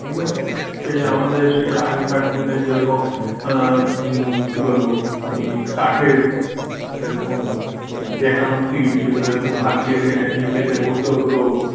ঠিক আছে সে আমাদের সেই আগেকার দিনে যেরকম হম কি বলব ওই কাঠের যেরকম বেঁকানো সিট যেগুলো এরকম হাত দিয়ে টেনে নিয়ে পেতে বসতে হতো।